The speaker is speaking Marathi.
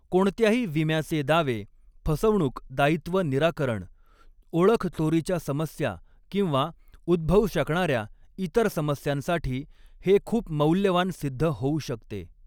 कोणत्याही विम्याचे दावे, फसवणूक दायित्व निराकरण, ओळख चोरीच्या समस्या किंवा उद्भवू शकणार्या इतर समस्यांसाठी हे खूप मौल्यवान सिद्ध होऊ शकते.